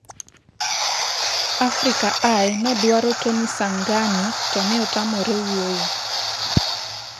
Africa Eye nodwaro Tony Sanghani to ne otamore wuoyo.